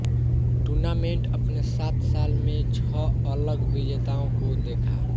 tournament अपने सात साल में छह अलग विजेताओं को देखा